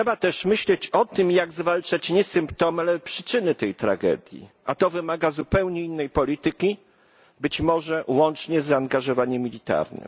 Trzeba też myśleć o tym, jak zwalczać nie symptomy, ale przyczyny tej tragedii, a to wymaga zupełnie innej polityki być może łącznie z zaangażowaniem militarnym.